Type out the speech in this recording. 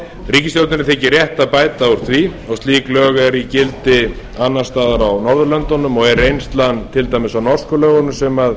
ríkisstjórninni þykir rétt að bæta úr því og slík lög eru í gildi annars staðar á norðurlöndunum og er reynslan til dæmis á norsku lögunum sem